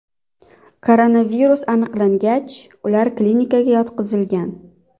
Koronavirus aniqlangach, ular klinikaga yotqizilgan.